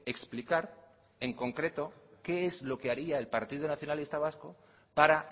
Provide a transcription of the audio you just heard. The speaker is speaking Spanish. explicar en concreto qué es lo que haría el partido nacionalista vasco para